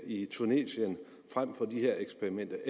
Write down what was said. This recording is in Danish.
i tunesien frem for de her eksperimenter